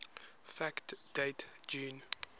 fact date june